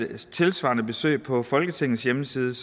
tilsvarende besøg på folketingets hjemmeside